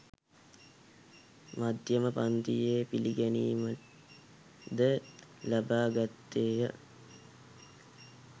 මධ්‍යම පංතියේ පිළිගැනීම ද ලබා ගත්තේය.